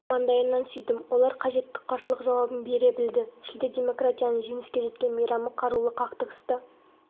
маңдайынан сүйдім олар қажетті қарсылық жауабын бере білді шілде демократияның жеңіске жеткен мейрамы қарулы қақтығыста